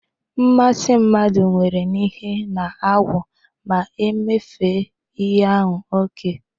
Mmasi mmadu nwere n'ihe na-agwu ma e mefee ihe ahu oke.